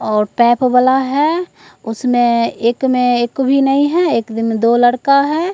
और टेप वाला है उसमें एक में एक भी नहीं है एक में दो लड़का है।